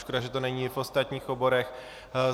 Škoda, že to není i v ostatních oborech.